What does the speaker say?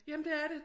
Jamen det er det